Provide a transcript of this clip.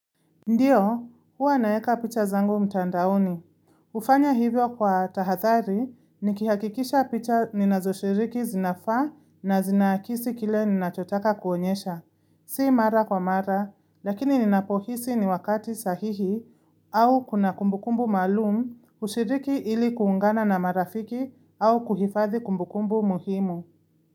Ndiyo, huwa naeka picha zangu mtandaoni. Ufanya hivyo kwa tahathari, nikihakikisha picha ninazoshiriki zinafa na zinakisi kile ninachotaka kuonyesha. Si mara kwa mara, lakini ninapohisi ni wakati sahihi au kuna kumbukumbu malum kushiriki ili kuungana na marafiki au kuhifathi kumbukumbu muhimu.